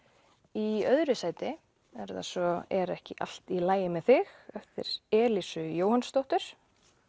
í öðru sæti er það svo er ekki allt í lagi með þig eftir Elísu Jóhannsdóttur